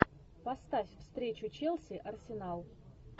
поставь встречу челси арсенал